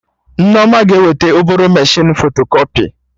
Nneoma ga-eweta obere mechinu fotokọpị